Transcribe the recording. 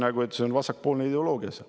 Peaasi, et see on vasakpoolne ideoloogia.